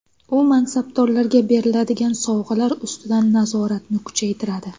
U mansabdorlarga beriladigan sovg‘alar ustidan nazoratni kuchaytiradi.